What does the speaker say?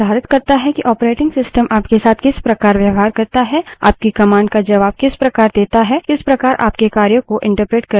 Linux environment निर्धारित करता है कि operating system आपके साथ किस प्रकार व्यवहार करता है आपकी commands का जबाब किस प्रकार देता है किस प्रकार आपके कार्यों को एंटरप्रेट करता है आदि